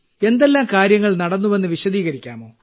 എന്തെല്ലാം കാര്യങ്ങൾ നടന്നുവെന്ന് വിശദീകരിക്കാമോ